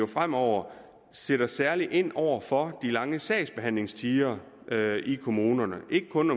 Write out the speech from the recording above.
fremover sætter særlig ind over for de lange sagsbehandlingstider i kommunerne ikke kun